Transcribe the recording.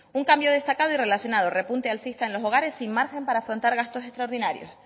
un cambio destacado y relacionado repunte alcista en los hogares y margen para afrontar gastos extraordinarios